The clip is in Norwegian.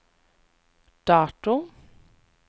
dato